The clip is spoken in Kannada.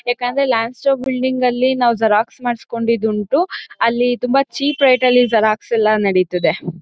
ಯಾಕಂದ್ರೆ ಲ್ಯಾಂಡ್ ಸ್ಟೋನ್ ಬಿಲ್ಡಿಂಗ್ ಅಲ್ಲಿ ನಾವ್ ಕ್ಸಾರಾಕ್ಸ್ ಮಾಡ್ಸ್ಕೊಂಡಿದ್ ಉಂಟು ಅಲ್ಲಿ ತುಂಬಾ ಚೀಪ್ ರೇಟ್ ಅಲ್ಲಿ ಕ್ಸಾರಾಕ್ಸ್ ಎಲ್ಲ ನಡೀತದೆ